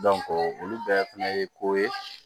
olu bɛɛ fɛnɛ ye ko ye